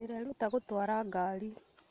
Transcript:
Ndĩreeruta gũtwara ngari